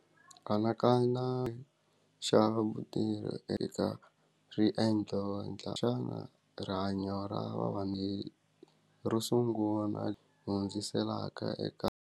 Anakana xa vutivi eka riendzo endla xana rihanyo ra ro sungula hundziselaka eka.